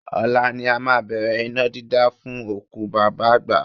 Ọ̀la ni a máa bẹ̀rẹ̀ iná dídá fún òkú bàbá àgbà